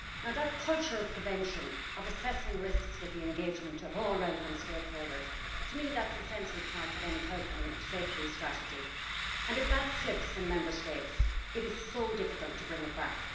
That culture of prevention, of assessing risks with the engagement of all relevant stakeholders, is to me a central part of any health and safety strategy and if that slips in Member States it is so difficult to bring it back.